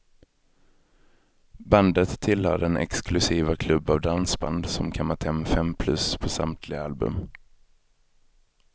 Bandet tillhör den exklusiva klubb av dansband som kammat hem fem plus på samtliga album.